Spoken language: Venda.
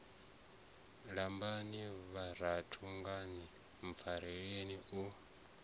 lambani vhananga ni mpfarele u